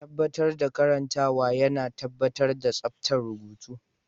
Tabbatar da karantawa yana tabbatar da tsabtar rubutu.